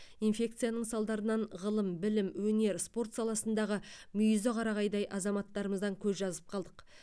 инфекцияның салдарынан ғылым білім өнер спорт саласындағы мүйізі қарағайдай азаматтарымыздан көз жазып қалдық